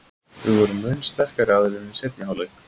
Við vorum mun sterkari aðilinn í seinni hálfleik.